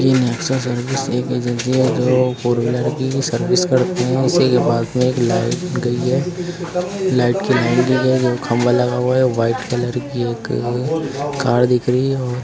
ये Nexa service एक agency है जो फोरव्हीलर की सर्विस करती है। इसी के पास में एक लाइट गई है। लाइट की लाइन गई है जो खंभा लगा हुआ है। व्हाइट कलर की एक कार दिख रही है और --